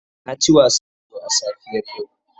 Na ci wasan ludo a safiyar yau.